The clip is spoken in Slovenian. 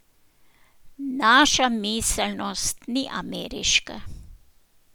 Naša miselnost ni ameriška.